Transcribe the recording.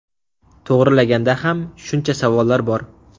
To‘g‘rilaganda ham shuncha savollar bor.